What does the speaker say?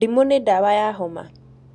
Ndimũ nĩ dawa ya homa